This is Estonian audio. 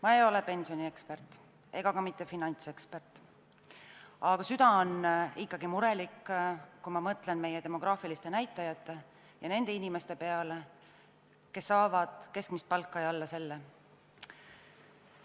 Ma ei ole pensioniekspert ega ka mitte finantsekspert, aga süda on ikkagi murelik, kui mõtlen meie demograafiliste näitajate ja nende inimeste peale, kes saavad keskmist palka või alla selle.